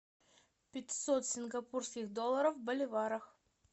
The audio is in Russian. пятьсот сингапурских долларов в боливарах